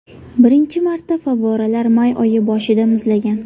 Birinchi marta favvoralar may oyi boshida muzlagan.